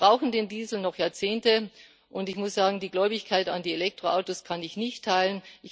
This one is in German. Wir brauchen den Diesel noch Jahrzehnte, und ich muss sagen, die Gläubigkeit an die Elektroautos kann ich nicht teilen.